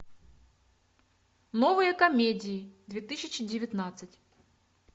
новые комедии две тысячи девятнадцать